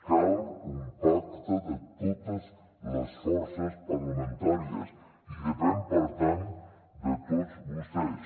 cal un pacte de totes les forces parlamentàries i depèn per tant de tots vostès